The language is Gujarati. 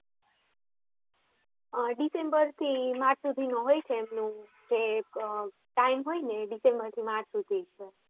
અમ ડિસેમ્બર થી માર્ચ સુધી હોય છે એમનું જે time હોય છે તે ડિસેમ્બર થી માર્ચ સુધી હોય છે